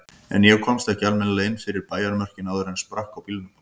En ég komst ekki almennilega inn fyrir bæjarmörkin áður en sprakk á bílnum.